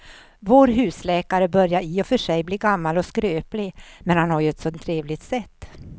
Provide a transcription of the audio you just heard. Vår husläkare börjar i och för sig bli gammal och skröplig, men han har ju ett sådant trevligt sätt!